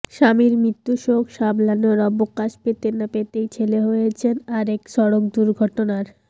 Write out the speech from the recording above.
স্বামীর মৃত্যুশোক সামলানোর অবকাশ পেতে না পেতেই ছেলে হয়েছেন আরেক সড়ক দুর্ঘটনার